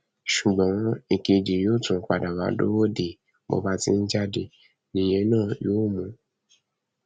ṣùgbọn èkejì yóò tún padà wàá dúró dè é bó bá ti ń jáde nìyẹn náà yóò mú un